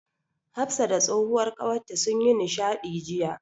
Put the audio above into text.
Hafsa da tsohuwar ƙawarta sun yi nishaɗi jiya.